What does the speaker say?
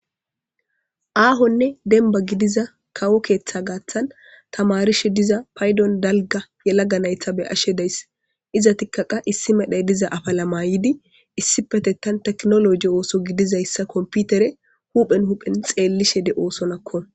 Aahonne denba gidiza kawo keeththa gaaththan tamarishe diza paydon dalga ye laga naytha be ashe dayss iza tikkaqa issi medhey diza afalamayidi issi petettan teknoloji ooso gidizayssa komputere huphen huphen xeellishe de oosonakko.